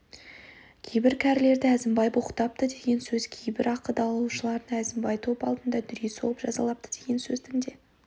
кейбір кәрілерді әзімбай боқтапты деген сөз кейбір ақы даулаушыны әзімбай топ алдында дүре соғып жазалапты деген сөздің де